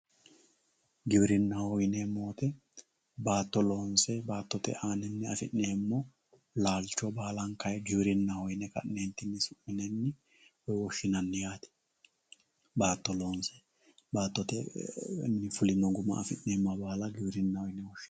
giwirinnaho yineemmo woyite baatto loonse baattote aaninni afi'neemmo laalcho baalankayi giwirinnaho yine ka'neentinni su'minanni woyi woshshinanni yaate baato loonse baatote fulino guma afi'neemmoha baala giwirinnaho yinanni yaate